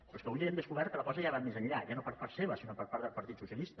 però és que avui hem descobert que la cosa ja va més enllà ja no per part seva sinó per part del partit socialista